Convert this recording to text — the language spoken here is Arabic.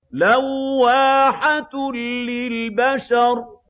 لَوَّاحَةٌ لِّلْبَشَرِ